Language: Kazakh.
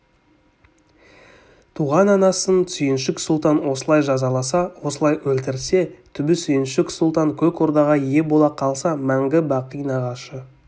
туған анасын сүйіншік сұлтан осылай жазаласа осылай өлтірсе түбі сүйіншік сұлтан көк ордаға ие бола қалса мәңгі-бақи нағашы